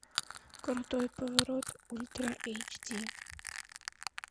крутой поворот ультра эйч ди